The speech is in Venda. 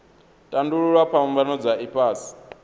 tandululwa phambano dza ifhasi kha